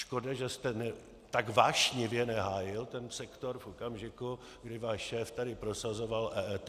Škoda, že jste tak vášnivě nehájil ten sektor v okamžiku, kdy váš šéf tady prosazoval EET.